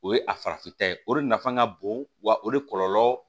O ye a farafinta ye o de nafa ka bon wa o de kɔlɔlɔ